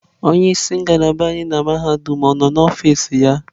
Onye isi ngalaba anyị na mahadum ọ nọ n'ọfịs ya?